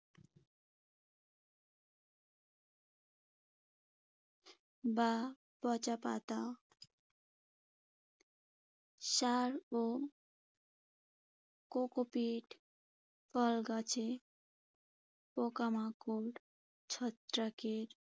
বা পচা পাতা সার ও coco peat ফলে গাছে পোকামাকড়, ছত্রাকের